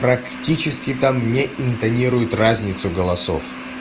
практически там не интонирует разницу голосов